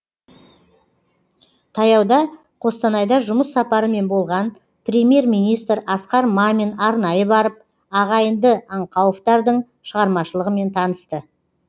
таяуда қостанайда жұмыс сапарымен болған премьер министр асқар мамин арнайы барып ағайынды аңқауовтардың шығармашылығымен танысты